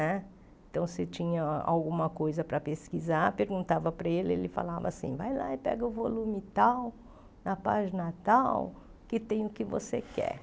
Né então, se tinha alguma coisa para pesquisar, perguntava para ele, ele falava assim, vai lá e pega o volume tal, na página tal, que tem o que você quer.